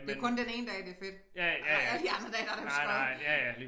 Det kun den ene dag det fedt og alle de andre dage der det jo skod